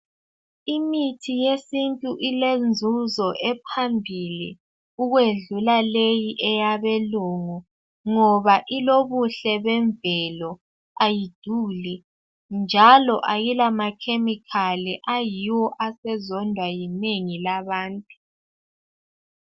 Imithi yesintu ilenzuzo ephambili ukwedlula leyi eyabelungu, ngoba ilobuhle bemvelo, ayiduli, njalo ayila makhemikhali ayiwo asezondwa yinengi labantu.